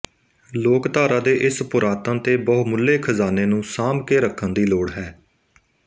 ਲੋਕਧਾਰਾ ਦੇ ਇਸ ਪੁਰਾਤਨ ਤੇ ਬਹੁਮੁੱਲੇ ਖ਼ਜ਼ਾਨੇ ਨੂੰ ਸਾਂਭ ਕੇ ਰੱਖਣ ਦੀ ਲੋੜ ਹੈ